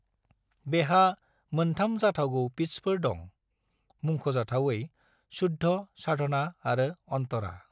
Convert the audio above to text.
बेहा मोनथाम जाथावगौ पिटसफोर दं, मुंख'जाथावयै शुद्ध, साधना आरो अंतरा।